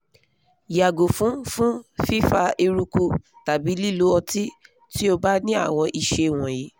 yàgo fun fun fifa eruku tàbí lílo ọtí tí ó bá ní àwọn ìṣe wọ̀nyí